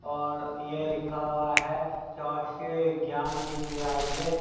और यह लिखा हुआ है स्वस्थ विज्ञान विद्यालय।